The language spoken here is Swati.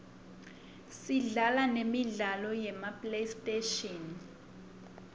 sidlala nemi sla lo yema playstation